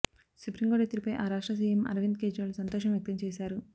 supreme court తీర్పుపై ఆ రాష్ట్ర సీఎం అరవింద్ కేజ్రీవాల్ సంతోషం వ్యక్తం చేశారు